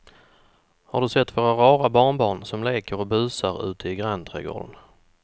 Har du sett våra rara barnbarn som leker och busar ute i grannträdgården!